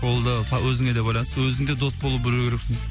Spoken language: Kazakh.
ол да өзіңе де байланысты өзің де дос бола білу керексің